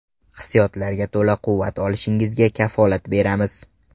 Hissiyotlarga to‘la quvvat olishingizga kafolat beramiz!